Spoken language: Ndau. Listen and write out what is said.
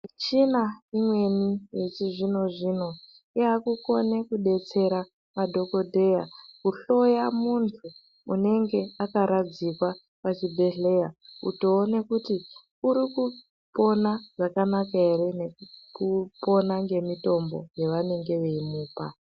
Michina imweni yechizvino zvino yakukone kudetsera madhokodheya Kuhloya muntu unenge akaradzikwa pachibhedhlera veiona kuti ari kupona zvakanaka ere veiona ngemitombo yavari kumupa.